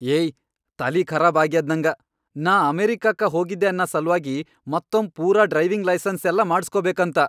ಏಯ್ ತಲಿಖರಾಬ್ ಆಗ್ಯದ್ ನಂಗ, ನಾ ಅಮೆರಿಕಾಕ್ಕ ಹೋಗಿದ್ದೆ ಅನ್ನ ಸಲ್ವಾಗಿ ಮತ್ತೊಮ್ ಪೂರಾ ಡ್ರೈವಿಂಗ್ ಲೈಸನ್ಸ್ ಎಲ್ಲಾ ಮಾಡಸ್ಕೋಬೇಕಂತ.